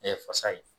fasa ye